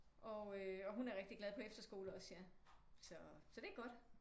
Og hun er rigtig glad på efterskole også ja så det er godt